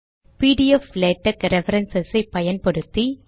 PDF LaTeX reference ஐ பயன்படுத்தி